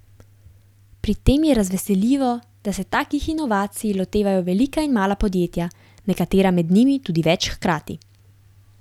Pri tem je razveseljivo, da se takih inovacij lotevajo velika in mala podjetja, nekatera med njimi tudi več hkrati.